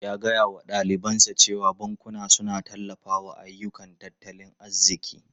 Ya gaya wa dalibansa cewa bankuna suna tallafawa ayyukan tattalin arziki.